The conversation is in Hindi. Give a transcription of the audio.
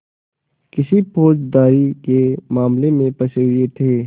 किसी फौजदारी के मामले में फँसे हुए थे